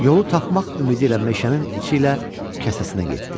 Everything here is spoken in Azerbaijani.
Yolu tapmaq ümidi ilə meşənin içi ilə kəsasəsinə getdi.